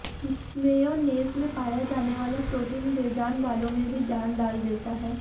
mayonnaise में पाया जाने वाला प्रोटीन बेजान बालों में भी जान डाल देता है